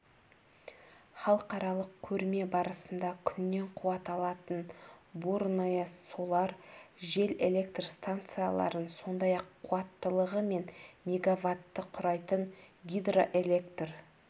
халықаралық көрме барысында күннен қуат алатын бурное-солар жел электр станцияларын сондай-ақ қуаттылығы және мегаватты құрайтын гидроэлектр